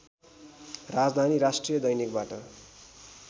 राजधानी राष्ट्रिय दैनिकबाट